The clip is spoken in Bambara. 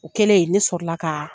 O kɛlen ne sɔrɔ la ka